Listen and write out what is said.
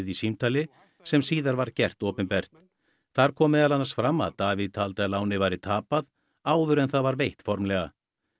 í símtali sem síðar var gert opinbert þar kom meðal annars fram að Davíð taldi að lánið væri tapað áður en það var veitt formlega